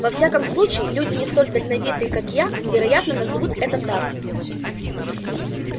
во всяком случае люди не столь дальновидные как я вероятно назовут это так